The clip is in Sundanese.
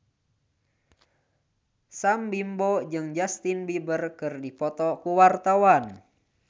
Sam Bimbo jeung Justin Beiber keur dipoto ku wartawan